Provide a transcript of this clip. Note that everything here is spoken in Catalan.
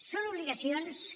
són obligacions que